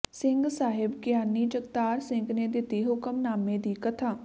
ਸਿੰਘ ਸਾਹਿਬ ਗਿਆਨੀ ਜਗਤਾਰ ਸਿੰਘ ਨੇ ਕੀਤੀ ਹੁਕਮਨਾਮੇ ਦੀ ਕਥਾ